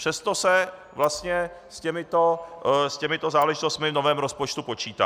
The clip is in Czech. Přesto se vlastně s těmito záležitostmi v novém rozpočtu počítá.